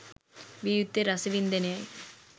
විය යුත්තේ රසවින්දනයයි